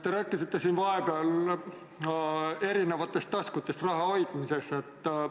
Te rääkisite siin vahepeal eri taskutes raha hoidmisest.